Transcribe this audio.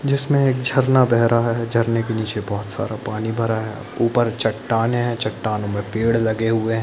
जिसमें एक झरना बह रहा है झरने के निचे बहुत सारा पानी भरा है ऊपर चट्टानें है चट्टानों मे पेड़ लगे हुए है।